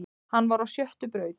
Hann var á sjöttu braut